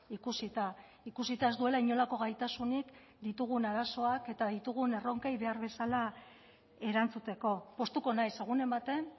ikusita ikusita ez duela inolako gaitasunik ditugun arazoak eta ditugun erronkei behar bezala erantzuteko poztuko naiz egunen baten